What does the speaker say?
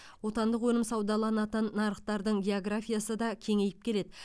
отандық өнім саудаланатын нарықтардың географиясы да кеңейіп келеді